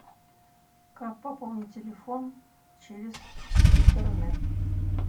как пополнить телефон через интернет